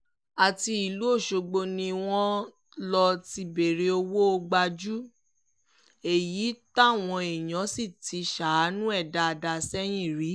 àti ìlú ọ̀ṣọ́gbó ni wọ́n lọ ti bẹ̀rẹ̀ owó gbájú-ẹ̀ yìí táwọn èèyàn sì ti ṣàánú ẹ̀ dáadáa sẹ́yìn rí